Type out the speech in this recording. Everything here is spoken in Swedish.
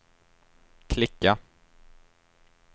klicka